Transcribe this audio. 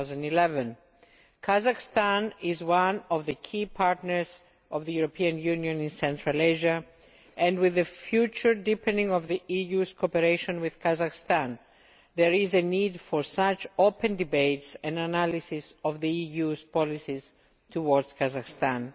2011. Kazakhstan is one of the key partners of the European Union in Central Asia and with the future deepening of the EU's cooperation with Kazakhstan, there is a need for such open debates and analyses of the EU's policies towards Kazakhstan.